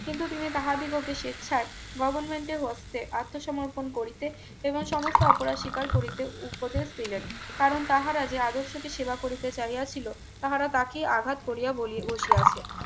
কিন্তু তিনি তাহাদি বকে স্বেচ্ছায় গভারমেন্টের হস্তে আত্মসমর্পণ করিতে এবং সমস্ত অপরাধ স্বীকার করিতে উপদেশ দিলেন কারণ তাহারা যে আদর্শকে সেবা করিতে চাইয়া ছিল তারা তাকে আঘাত করিয়া বলি বসিয়াছে